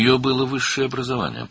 Onun ali təhsili var idi.